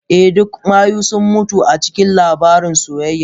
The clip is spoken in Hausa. Eh, duk mayu sun mutu a cikin labarin soyayya.